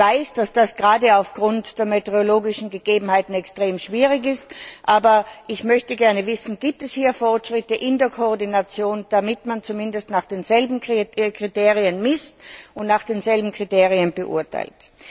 Ich weiß, dass das gerade aufgrund der meteorologischen Gegebenheiten extrem schwierig ist, aber ich möchte gerne wissen, ob es hier Fortschritte bei der Koordination gibt, damit man zumindest nach denselben Kriterien misst und nach denselben Kriterien bewertet.